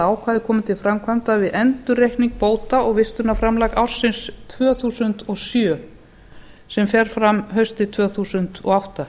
ákvæðið komi til framkvæmda við endurreikning bóta og vistunarframlag ársins tvö þúsund og sjö sem fer fram haustið tvö þúsund og átta